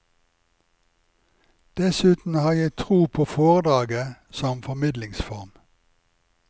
Dessuten har jeg tro på foredraget som formidlingsform.